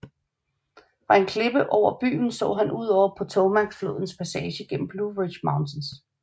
Fra en klippe over byen så han ud over Potomacflodens passage gennem Blue Ridge Mountains